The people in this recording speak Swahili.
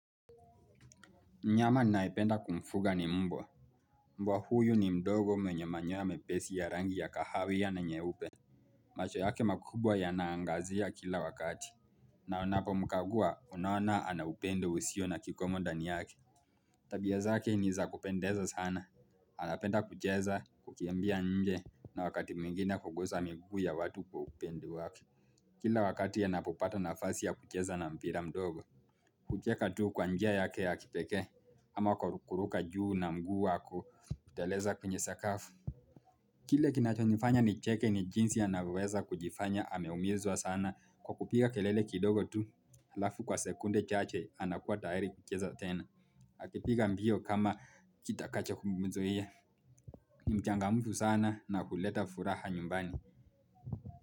Mnyama ninayependa kumfuga ni mbwa Mbwa huyu ni mdogo mwenye manyoya mepesi ya rangi ya kahawia na nyeupe macho yake makubwa yanaangazia kila wakati na unapomkagua unaona ana upendo usio na kikomo ndani yake Tabia zake niza kupendeza sana anapenda kucheza kukimbia nje na wakati mwingine kugusa miguu ya watu kwa upende wake Kila wakati anapopata nafasi ya kucheza na mpira mdogo kucheka tu kwa njia yake ya kipekee ama kwa kuruka juu na mguu wako kuteleza kwenye sakafu Kile kinachonifanya nicheke ni jinsi anavyoweza kujifanya ameumizwa sana kwa kupiga kelele kidogo tu Halafu kwa sekunde chache anakuwa tayari kucheza tena Akipiga mbio kama kitakacho kumuzuia ni mchangamfu sana na huleta furaha nyumbani.